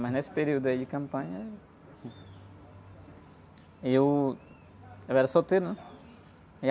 Mas nesse período aí de campanha... Eu, eu era solteiro, né?